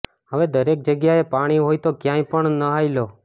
હવે દરેક જગ્યાએ પાણી હોય તો ક્યાંય પણ નહાઇ લો